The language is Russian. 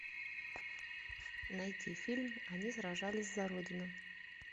найти фильм они сражались за родину